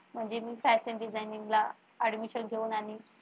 म्हणजे मी fashion designing ला admission घेऊन आणि